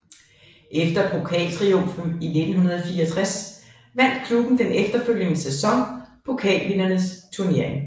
Efter pokaltriumfen i 1964 vandt klubben den efterfølgende sæson Pokalvindernes Turnering